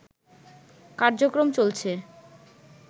কার্যক্রম চলছে